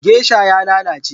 Gesha ya lalace